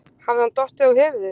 Hafði hann dottið á höfuðið?